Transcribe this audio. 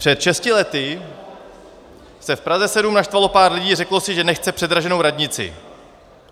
Před šesti lety se v Praze 7 naštvalo pár lidí a řeklo si, že nechce předraženou radnici.